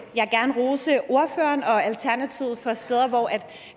jeg gerne rose ordføreren og alternativet for de steder hvor